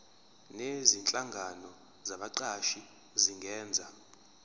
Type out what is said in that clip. nezinhlangano zabaqashi zingenza